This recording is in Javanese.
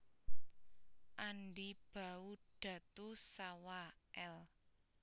Andi Bau Datu Sawa L